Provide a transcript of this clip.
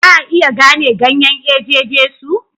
Za a iya gane ganyen eje Jesu?